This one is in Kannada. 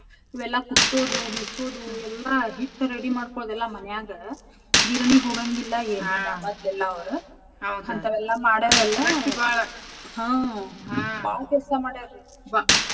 ಇವೆಲ್ಲಾ ಕುಟ್ಟೋದು ಬಿಸೋದು ಎಲ್ಲಾ ಹಿಟ್ಟ ready ಮಾಡ್ಕೋಳದು ಎಲ್ಲಾ ಮನ್ಯಾಗ ಗಿರಣಿಗ್ ಹೋಗಾಂಗಿಲ್ಲಾ ಏನಿಲ್ಲಾ . ಮದ್ಲ ಎಲ್ಲಾ ಅವ್ರ ಅಂತಾವೆಲ್ಲಾ ಮಾಡ್ಯಾರ ಅಲ್ಲಾ ಹಾ ಬಾಳ್ ಕೆಲ್ಸ ಮಾಡ್ಯಾರೀ.